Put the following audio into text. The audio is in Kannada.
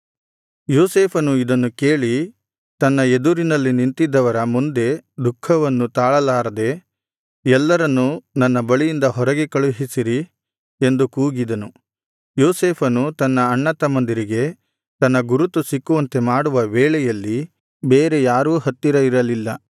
ಯೋಸೇಫನು ಇದನ್ನು ಕೇಳಿ ತನ್ನ ಎದುರಿನಲ್ಲಿ ನಿಂತಿದ್ದವರ ಮುಂದೆ ದುಃಖವನ್ನು ತಾಳಲಾರದೆ ಎಲ್ಲರನ್ನು ನನ್ನ ಬಳಿಯಿಂದ ಹೊರಗೆ ಕಳುಹಿಸಿರಿ ಎಂದು ಕೂಗಿದನು ಯೋಸೇಫನು ತನ್ನ ಅಣ್ಣತಮ್ಮಂದಿರಿಗೆ ತನ್ನ ಗುರುತು ಸಿಕ್ಕುವಂತೆ ಮಾಡುವ ವೇಳೆಯಲ್ಲಿ ಬೇರೆ ಯಾರೂ ಹತ್ತಿರ ಇರಲಿಲ್ಲ